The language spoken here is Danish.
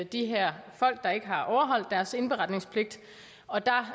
de her folk der ikke har overholdt deres indberetningspligt og der